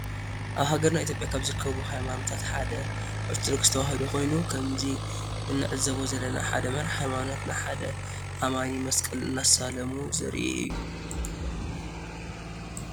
አብ ሃገርና ኢትዩዮጵያ ካብ ዝርከቡ ሃይማኖታት ሓደ አርተዶክስ ተዋህዶ ኮይኑ ከምዚ እንዕዞቦ ዘለና ሓደ መራሒ ሃይማኖት ንሓደ አማኒ መስቀል እናሳለሙ ዘሪኢ እዩ ።